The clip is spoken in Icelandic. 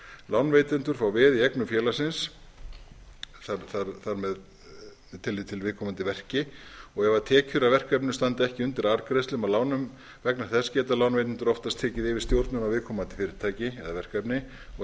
lánveitendur fá veð í eignum félagsins þar með talið í viðkomandi verki og ef tekjur af verkefninu standa ekki undir arðgreiðslum af lánum vegna þess geta lánveitendur oftast tekið yfir stjórnun á viðkomandi fyrirtæki eða verkefni og